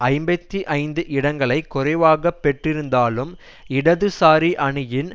ஐம்பத்தி ஐந்து இடங்களை குறைவாக பெற்றிருந்தாலும் இடதுசாரி அணியின்